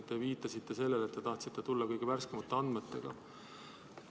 Te viitasite sellele, et tahtsite tulla kõige värskemate andmetega.